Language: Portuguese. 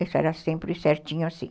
Isso era sempre certinho assim.